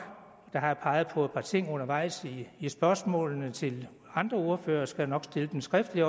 jeg har peget på par ting undervejs i spørgsmålene til de andre ordførere og skal også nok stille dem skriftligt